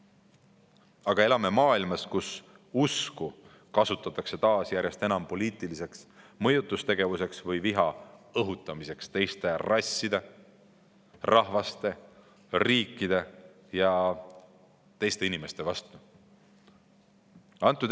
Aga elame maailmas, kus usku kasutatakse taas järjest enam poliitiliseks mõjutustegevuseks või viha õhutamiseks teiste rasside, rahvuste, riikide ja teiste inimeste vastu.